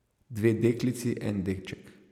Dve deklici, en deček.